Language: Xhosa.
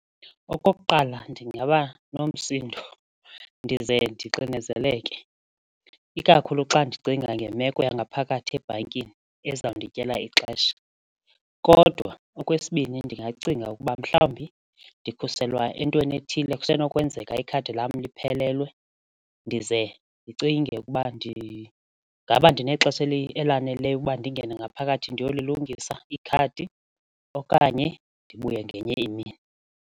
Okokuqala, ndingaba nomsindo ndize ndixinezeleke ikakhulu xa ndicinga ngemeko yangaphakathi ebhankini ezandityela ixesha kodwa okwesibini ndingacinga ukuba mhlawumbi ndikhuselwa entweni ethile kusenokwenzeka ikhadi lam liphelelwe ndize ndicinge ukuba ndingaba ndinexesha elaneleyo ukuba ndingene ngaphakathi ndiyolilungisa ikhadi okanye ndibuye ngenye imini.